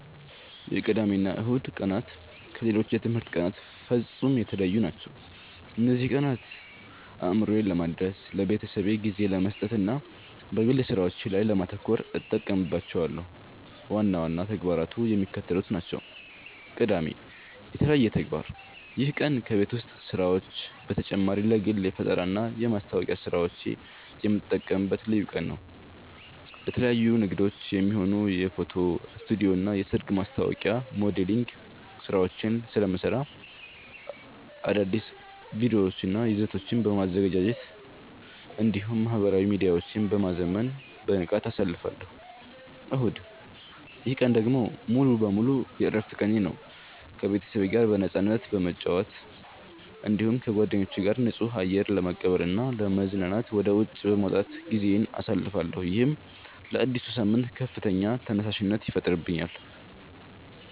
የቅዳሜና እሁድ ቀናት ከሌሎች የትምህርት ቀናት ፍጹም የተለዩ ናቸው። እነዚህን ቀናት አእምሮዬን ለማደስ፣ ለቤተሰቤ ጊዜ ለመስጠትና በግል ሥራዎቼ ላይ ለማተኮር እጠቀምባቸዋለሁ። ዋና ዋና ተግባራቱ የሚከተሉት ናቸው፦ ቅዳሜ (የተለየ ተግባር)፦ ይህ ቀን ከቤት ውስጥ ሥራዎች በተጨማሪ ለግል የፈጠራና የማስታወቂያ ሥራዎቼ የምጠቀምበት ልዩ ቀን ነው። ለተለያዩ ንግዶች የሚሆኑ የፎቶ ስቱዲዮና የሰርግ ማስታወቂያ ሞዴሊንግ ሥራዎችን ስለምሠራ፣ አዳዲስ ቪዲዮዎችንና ይዘቶችን በማዘጋጀት እንዲሁም ማኅበራዊ ሚዲያዎቼን በማዘመን በንቃት አሳልፋለሁ። እሁድ፦ ይህ ቀን ደግሞ ሙሉ በሙሉ የዕረፍት ቀኔ ነው። ከቤተሰቤ ጋር በነፃነት በመጨዋወት፣ እንዲሁም ከጓደኞቼ ጋር ንጹህ አየር ለመቀበልና ለመዝናናት ወደ ውጪ በመውጣት ጊዜዬን አሳልፋለሁ። ይህም ለአዲሱ ሳምንት ከፍተኛ ተነሳሽነት ይፈጥርልኛል።